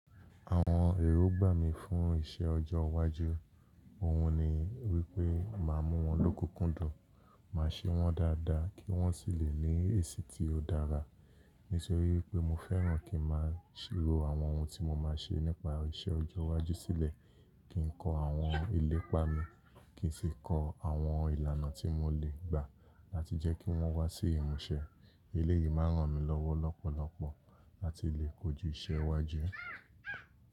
Àwọn èrò gbà mí fún iṣẹ́ ọjọ́ iwájú. Ohun ni wípé máa mú wọn lóko kúndùn, máa ṣe wọn dáadáa kí wón sì lè ní èsì tí ó dára. Nítorí pé mo fẹ́ràn kí máa ṣírò àwọn ohun tí mo máa ṣe nípa iṣẹ́ ọjọ́ iwájú sílẹ̀, kí n kọ àwọn ilépa mi, kì í sì kọ àwọn ìlànà tí mo lè gbà láti jẹ́ kí wọ́n wá sí ìmúṣẹ. Eléyìí máa ràn mí lọ́wọ́ lọ́pọ̀lọpọ̀ láti lè kojú iṣẹ́ iwájú.